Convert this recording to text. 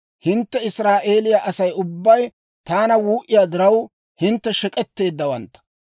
Hintte Israa'eeliyaa Asay ubbay taana wuu"iyaa diraw, hintte shek'etteeddawaantta.